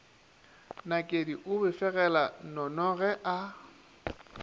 nakedi o befegela nnonoge a